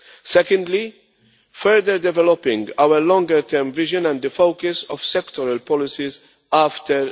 Secondly, further developing our longer term vision and the focus of sectoral policies after